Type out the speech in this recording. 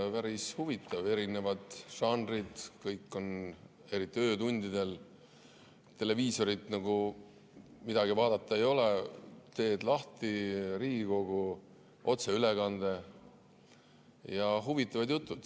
Päris huvitav, erinevad žanrid, eriti öötundidel, televiisorist nagu midagi vaadata ei ole, teed lahti Riigikogu otseülekande ja on huvitavad jutud.